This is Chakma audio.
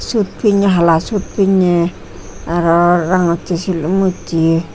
suit pinne hala suit pinne aro rangocche silum ucche.